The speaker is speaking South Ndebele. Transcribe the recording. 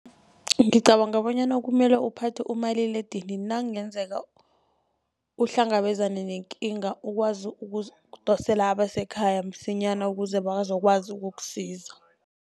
Ngicabanga bonyana kumele uphathe umaliledinini, nakungenzeka uhlangabezane nekinga ukwazi ukudosela abasekhaya msinyana ukuze bazokwazi ukukusiza.